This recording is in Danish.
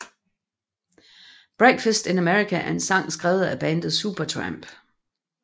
Breakfast in America er en sang skrevet af bandet Supertramp